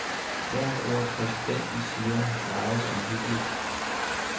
Hvert ord præsidenten siger, vejes omhyggeligt.